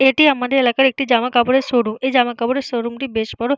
এটি আমাদের এলাকার একটি জামা কাপড়ের শোরুম এই জামা কাপড়ের শোরুম টি বেশ বড়।